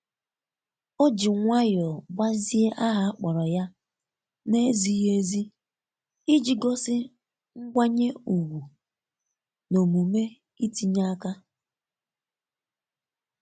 oji nwayọọ gbazie aha a kpọrọ ya na-ezighi ezi iji gosi ngwanye ukwu na omume itinye aka.